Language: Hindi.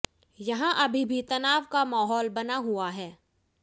यहां अभी भी तनाव का माहौल बना हुआ है